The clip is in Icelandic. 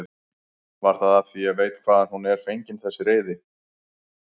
Var það af því ég veit hvaðan hún er fengin þessi reiði?